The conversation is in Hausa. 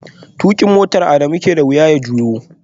Tukin motar Adamu ke da wuya ya juyo